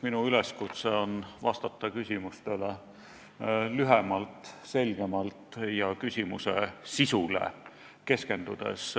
Minu üleskutse on vastata küsimustele lühemalt, selgemalt ja küsimuse sisule keskendudes.